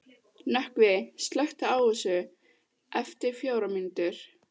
Nökkvi, slökktu á þessu eftir fjórar mínútur.